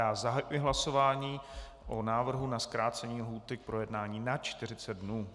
Já zahajuji hlasování o návrhu na zkrácení lhůty k projednání na 40 dnů.